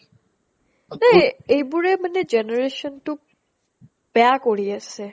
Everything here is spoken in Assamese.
এ এইবোৰে মানে generation টোক বেয়া কৰি আছে